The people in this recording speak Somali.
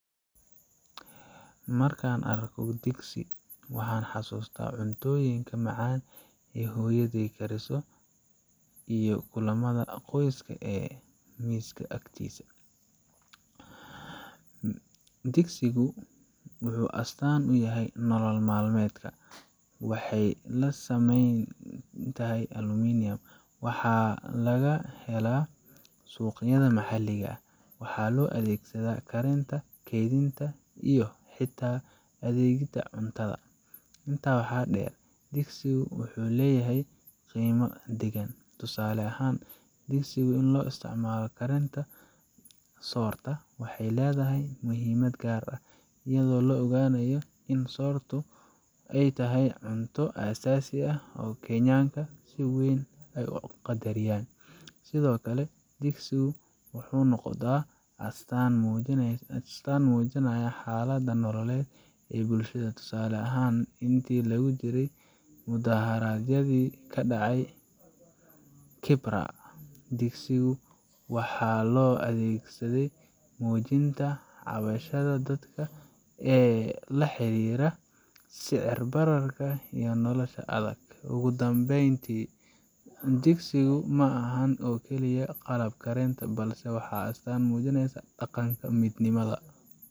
Markaan arko digsi, waxaan xasuustaa cuntooyinka macaan ee hooyaday kariso iyo kulamada qoyska ee miiska agtiisa. digsigu waxuu astaan u tahay nolol maalmeedka Kenyaanka. Waxay ka samaysan tahay aluminium, waxaana laga helaa suuqyada maxalliga ah. Waxaa loo adeegsadaa karinta, kaydinta, iyo xitaa u adeegidda cuntada. Intaa waxaa dheer, digsigu waxu leedahay qiime dhaqan. Tusaale ahaan, digsigu loo isticmaalo karinta soorta waxay leedahay muhiimad gaar ah, iyadoo la ogyahay in sortu uu yahay cunto aasaasi ah oo Kenyaanka ay si weyn u qadariyaan. Sidoo kale, digsigu waxay noqotay astaan muujinaya xaaladda nololeed ee bulshada. Tusaale ahaan, intii lagu jiray mudaaharaadyadii ka dhacay Kibra, digsigu waxaa loo adeegsaday muujinta cabashada dadka ee la xiriirta sicir bararka iyo nolosha adag. Ugu dambeyn, digsigu ma aha oo kaliya qalab karinta, balse waa astaan muujinaysa dhaqanka, midnimada.